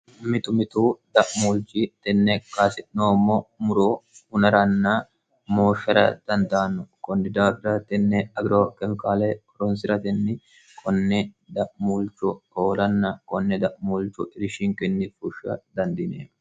mitu mitu da'muulchi tenne kaasitnoommo muro unaranna mooffera dandaanno kondidaaira tenne agiro kemiqaale koronsi'ratenni konne da'muulchu hoolanna konne da'muulchu irishinkinni fushsha dandine